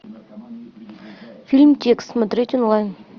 фильм текст смотреть онлайн